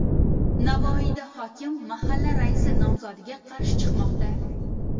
Navoiyda hokim mahalla raisi nomzodiga qarshi chiqmoqda .